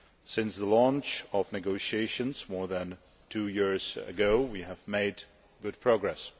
Since the launch of negotiations more than two years ago, we have made good progress.